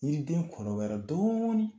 Yiriden kɔrɔbayara dɔɔnin